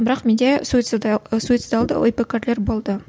бірақ менде суицидалды ой пікірлер болды